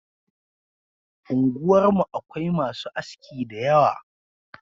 Unguwar mu Akwai masu aski dayawa